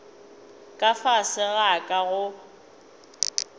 ka fase ga ka go